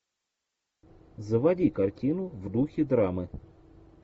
заводи картину в духе драмы